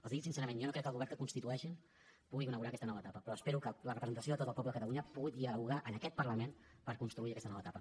els hi dic sincerament jo no crec que el govern que constitueixin pugui inaugurar aquesta nova etapa però espero que la representació de tot el poble de catalunya pugui dialogar en aquest parlament per construir aquesta nova etapa